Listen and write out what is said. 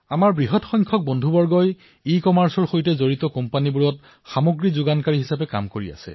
বৃহৎ সংখ্যাত আমাৰ বহু সতীৰ্থই ইকমাৰ্চৰ সৈতে জড়িত উদ্যোগসমূহৰ যোগানৰ কাম কৰি আছে